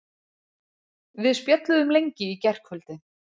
Við spjölluðum lengi í gærkvöldi.